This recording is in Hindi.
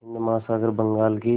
हिंद महासागर बंगाल की